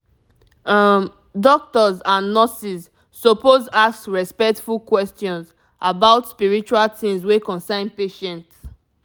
um doctors and nurses suppose ask respectful questions about spiritual things wey concern patient.